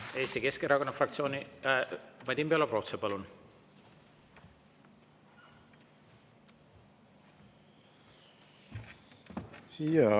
Eesti Keskerakonna fraktsiooni nimel Vadim Belobrovtsev, palun!